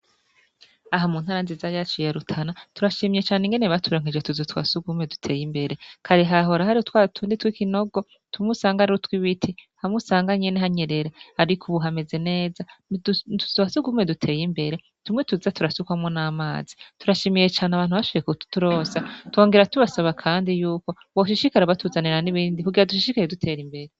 Aha mu ntara nziza yacu yarutana turashimiyecane ingene baturankeje tuzu twa sugumwe duteye imbere kare hahora hari twatundi tw'ikinogo tumwusangarrutwa ibiti hamwusanganyene hanyerera, ariko, ubu hameze neza tuzasugumwe duteye imbere tumwe tuza turasukwamwo n'amazi turashimiyecane abantu bashiye kubturosa tongera tubasaba, kandi yukoboshishikara batuzanira n'ibindi kugira dushishikaye dutera imbere.